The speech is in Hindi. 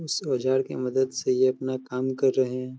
इस औज़ार की मदद से ये अपना काम कर रहें हैं।